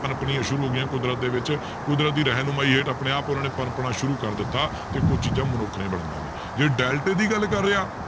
ਪਣਪਣੀਆਂ ਸ਼ੁਰੂ ਹੋ ਗਈਆਂ ਕੁਦਰਤ ਦੇ ਵਿੱਚ ਕੁਦਰਤ ਦੀ ਰਹਿਣ ਨੁਮਾਈ ਹੇਠ ਆਪਣੇ ਆਪ ਉਹਨਾਂ ਨੇ ਪਣਪਣਾ ਸ਼ੁਰੂ ਕਰ ਦਿੱਤਾ ਤੇ ਕੁਛ ਚੀਜ਼ਾਂ ਮਨੁੱਖ ਨੇ ਬਣਾਈਆਂ ਨੇ ਜੇ ਡੈਲਟੇ ਦੀ ਗੱਲ ਕਰ ਰਹੇ ਹਾਂ,